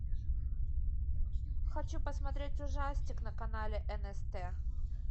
хочу посмотреть ужастик на канале нст